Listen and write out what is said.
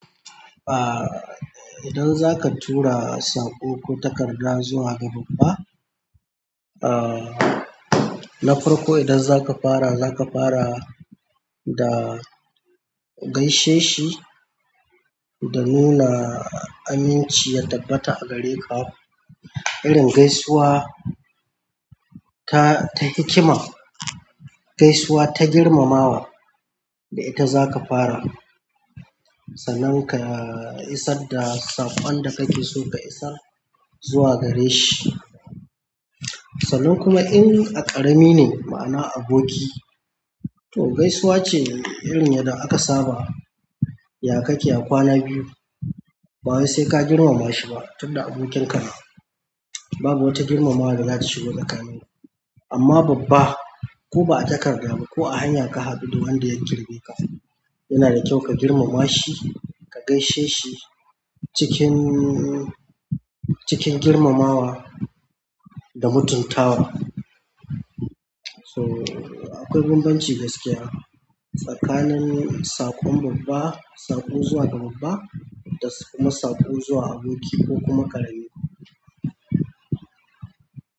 Ah, idan zaka tura saƙo ko takarda zuwa ga babba, ah, na farko idan zaka fara, zaka fara da gaishe shi da nuna aminci ya tabbata a gare ka. Irin gaisuwa ta, ta hikima, gaisuwa ta girmamawa da ita zaka fara sannan ka isar da saƙon da kake so ka isar zuwa gare shi. Sannan kuma in a ƙarami ne, ma'ana aboki. To gaisuwa ce irin yadda aka saba, ya kake ya kwana biyu? Ba wai sai ka girmama shi ba, tunda abokinka ne. Babu wata girmamawa da za ta shigo tsakanin ku. Amma babba ko ba a takarda ba ko a hanya ka haɗu wanda ya girme ka, yana da kyau ka girmama shi, ka gaishe shi cikin, cikin girmamawa da mutuntawa. So akwai bambanci gaskiya tsakanin saƙon babba, saƙo zuwa ga babba da kuma saƙo zuwa aboki ko kuma ƙarami.